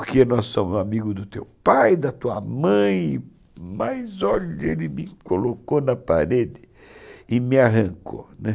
Porque nós somos amigos do teu pai, da tua mãe, mas, olha, ele me colocou na parede e me arrancou, né?